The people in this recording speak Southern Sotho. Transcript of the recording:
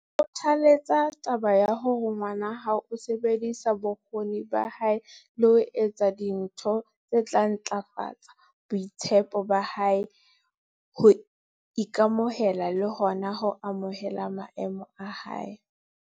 Kgothaletsa taba ya hore ngwana hao o sebedisa bokgoni ba hae le ho etsa dintho tse tla ntlafatsa boitshepo ba hae, ho ika-mohela le hona ho amohela maemo a hae.